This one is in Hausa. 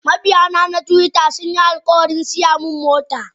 Mabiyana na twitter sunyi alkawarin siyamin mota.